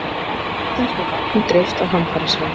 Íslensku vatni dreift á hamfarasvæði